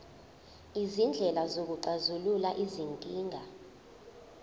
izindlela zokuxazulula izinkinga